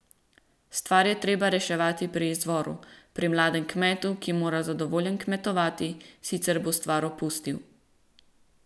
Stvar je treba reševati pri izvoru, pri mladem kmetu, ki mora zadovoljen kmetovati, sicer bo stvar opustil.